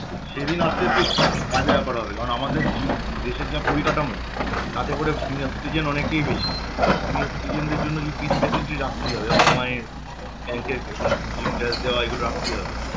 সেদিন আসলে খুব বাজে ব্যাপার হবে কারণ আমাদের য~ দেশের যে পরিকাঠামো তাতে করে senior citizen অনেকেই বেশি senior citizen দের জন্য কিছু রাখতেই হবে যেমন MI bank এর দেয়া এগুলো রাখতেই হবে